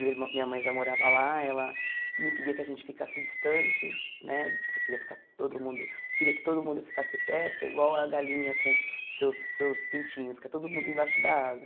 Minha irmã minha mãe já morava lá, ela não queria que a gente ficasse distante né, queria ficar todo mundo queria que todo mundo ficasse perto, igual a galinha com seus seus pintinhos, que é todo mundo embaixo da asa.